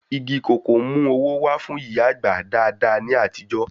Igi kòkó ń mú owó wá fún ìyá àgbà dáadáa ní àtijọ́